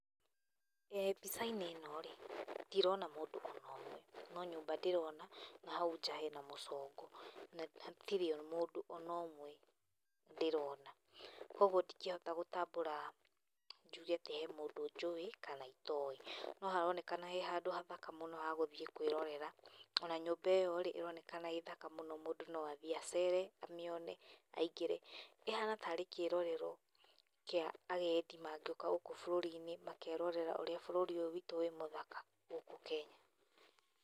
Mbica-inĩ ĩno rĩ, ndirona maũndũ ona ũmwe.No nyũmba ndĩrona na hau nja hena mũcongo na hatirĩ maũndũona ũmwe ndĩrona. Kũguo ndingĩhota gũtambũra njuge atĩ he mũndũ njũĩ kana itoĩ. No haronekana he handũ hathaka mũno ha gũthiĩ kwĩrorera, ona nyũmba ĩyorĩ, ĩronekana ĩthaka mũno mũndũ no athiĩ acere amĩone aingĩre. ĩhana tarĩ kĩrorerwo kĩa agendi mangĩũka gũkũ bũrũri-inĩ makerorera ũrĩa bũrũri wĩtũ wĩ mũthaka gũkũ Kenya.